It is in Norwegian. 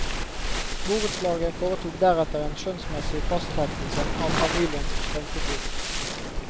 Borettslaget foretok deretter en skjønnsmessig fastsettelse av familiens strømforbruk.